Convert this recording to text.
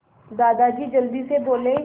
दादाजी जल्दी से बोले